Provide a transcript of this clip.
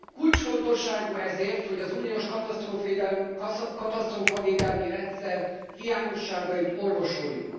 Kulcsfontosságú ezért, hogy az uniós katasztrófavédelmi rendszer hiányosságait orvosoljuk.